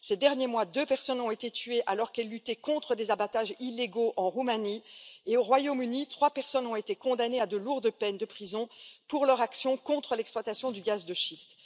Ces derniers mois, deux personnes ont été tuées alors qu'elles luttaient contre des abattages illégaux en Roumanie, tandis qu'au Royaume Uni, trois personnes ont été condamnées à de lourdes peines de prison pour leur action contre l'exploitation du gaz de schiste.